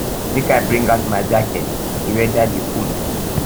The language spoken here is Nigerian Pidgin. make i bring out my jacket di weather dey cold